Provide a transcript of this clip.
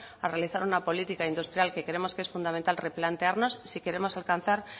a realizar una política industrial que creemos que es fundamental replantearnos si queremos alcanzar